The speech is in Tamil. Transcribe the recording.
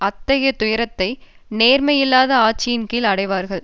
அத்தகைய துயரத்தை நேர்மையில்லாத ஆட்சியின் கீழும் அடைவார்கள்